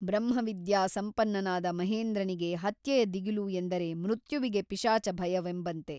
ಬ್ರಹ್ಮವಿದ್ಯಾ ಸಂಪನ್ನನಾದ ಮಹೇಂದ್ರನಿಗೆ ಹತ್ಯೆಯ ದಿಗಿಲು ಎಂದರೆ ಮೃತ್ಯುವಿಗೆ ಪಿಶಾಚ ಭಯವೆಂಬಂತೆ.